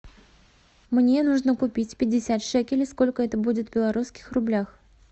мне нужно купить пятьдесят шекелей сколько это будет в белорусских рублях